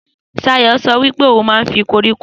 Sayo so wípé ohun man fi koríko